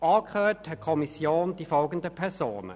Angehört hat die Kommission die folgenden Personen: